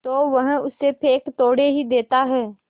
तो वह उसे फेंक थोड़े ही देता है